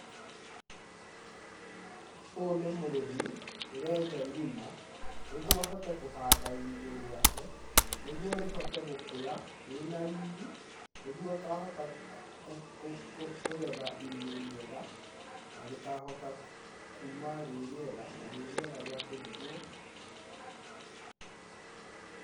Ũyũ nĩ mũrĩmi ũrenja irima nĩguo ahote kũhanda irigũ rĩake nĩguo rĩhote gũkũra rĩna riri nĩguo akahota kũgetha irigũ rĩega na rĩkahota kuuma rĩ rĩega na rĩrĩega rĩa kũrugwo.